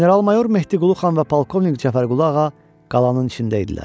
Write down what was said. General Mayor Mehdiqulu xan və Polkovnik Cəfərqulu ağa qalanın içində idilər.